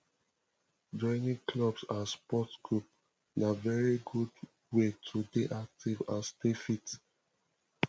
joining clubs and sport group na very good wey to dey active and stay fit